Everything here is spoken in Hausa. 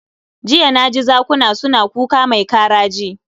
Jiya na ji zakuna suna kuka mai karaji